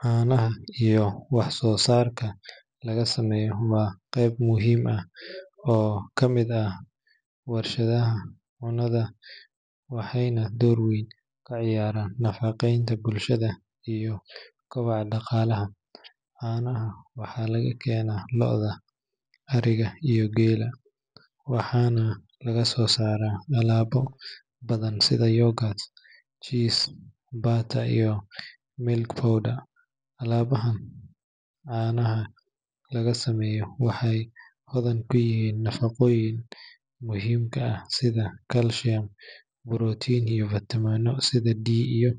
Caanaha iyo wax soo saarka laga sameeyo waa qeyb muhiim ah oo ka mid ah warshadaha cunnada waxayna door weyn ka ciyaaraan nafaqeynta bulshada iyo koboca dhaqaalaha. Caanaha waxaa laga keenaa lo’da, ariga, iyo geela, waxaana laga soo saaraa alaabo badan sida yogurt, cheese, butter, iyo milk powder. Alaabahan caanaha laga sameeyo waxay hodan ku yihiin nafaqooyinka muhiimka ah sida kalsiyam, borotiin, iyo fiitamiinno sida D iyo